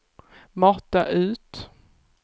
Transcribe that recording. mata ut